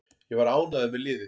Ég var ánægður með liðið.